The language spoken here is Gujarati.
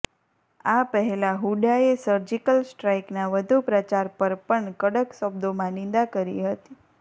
આ પહેલાં હુડ્ડાએ સર્જિકલ સ્ટ્રાઈકના વધુ પ્રચાર પર પણ કડક શબ્દોમાં નિંદા કરી હતી